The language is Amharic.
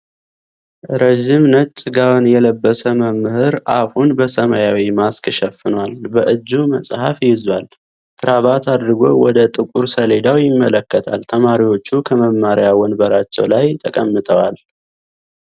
ረዥም ነጭ ጋወን የለበሰ መምህር አፉን በሰማያዊ ማስክ ሸፍኗል። በእጁ መፅሐፍ ይዟል። ካራባት አድርጎ በደ ጥቁር ሰሌዳዉ ይመለከታል። ተማሪዎቹ ከመማሪያ ወንበርላቸዉ ላይ ተቀምጠዋል።